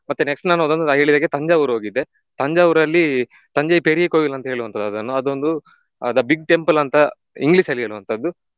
ಮತ್ತೆ next ನಾನು ಹೋದದ್ದು ರೈಲಲ್ಲಿ ತಂಜಾವೂರ್ ಹೋಗಿದ್ದೆ. ತಂಜಾವೂರಲ್ಲಿ தஞ்சை பெரிய கோவில் ಅಂತ ಹೇಳುವಂತದ್ದು ಅದನ್ನ ಅದೊಂದು ಆ The Big Temple ಅಂತ English ಅಲ್ಲಿ ಹೇಳುವಂತದ್ದು